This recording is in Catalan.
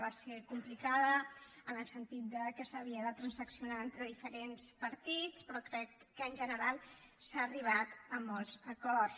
va ser complicada en el sentit de que s’havia de transaccionar entre diferents partits però crec que en general s’ha arribat a molts acords